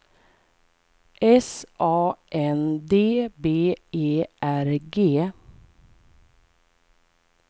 S A N D B E R G